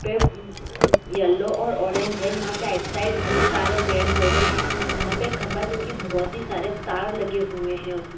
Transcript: पे एम म येलो और ऑरेंज है यहां पे राइट साइड बहुत सारे पेड़-पौधे है यहां पे एक खंभा जो कि बहुत ही सारे तार लगे हुए है उसमे --